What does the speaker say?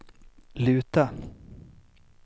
luta